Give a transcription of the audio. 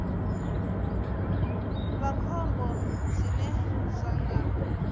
vha khombo zwine zwa nga